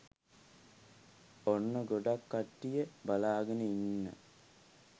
ඔන්න ගොඩක් කට්ටිය බලාගෙන ඉන්න